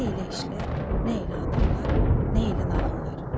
Nə elə işlər, nə elə adamlar, nə elə nağıllar.